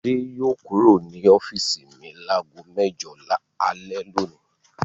Fadé yóò kúrò ní ọ́fíísì mi lágo mẹ́jọ alẹ́ lónìí.